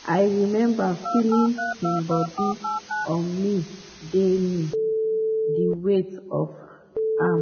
“i remember feeling im body on me di me di weight of am.